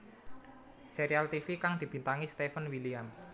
Serial tivi kang dibintangi Steven William